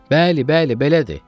Bəli, bəli, belədir.